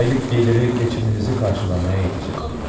Aylıq gəliri keçiminizi qarşılamağa yetəcəkdir.